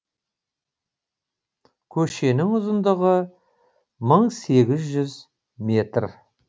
көшенің ұзындығы мың сегіз жүз метр